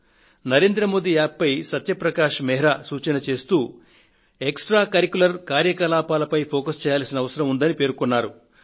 Narendra Modi App పై సత్యప్రకాశ్ మెహ్రా సూచన చేస్తూ విద్యేతర కార్యకలాపాలపైన శ్రద్ధ తీసుకోవాల్సిన అవసరం ఉంది అని అన్నారు